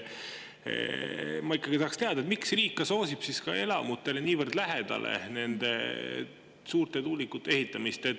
Ma ikkagi tahaksin teada, miks riik soosib nende suurte tuulikute elamutele niivõrd lähedale ehitamist.